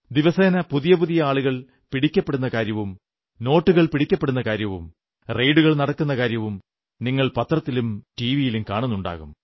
ദിവസേന പുതിയ പുതിയ ആളുകൾ പിടിക്കപ്പെടുന്ന കാര്യവും നോട്ടുകൾ പിടിക്കപ്പെടുന്ന കാര്യവും റെയ്ഡുകൾ നടക്കുന്ന കാര്യവും നിങ്ങൾ പത്രത്തിലും ടിവിയിലും കാണുന്നുണ്ടാകും